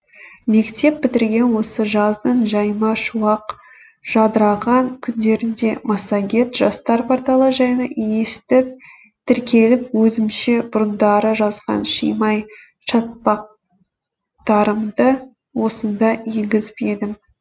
мектеп бітірген осы жаздың жайма шуақ жадыраған күндерінде массагет жастар порталы жайлы естіп тіркеліп өзімше бұрындары жазған шимай шатпақ тарымды осында енгізіп едім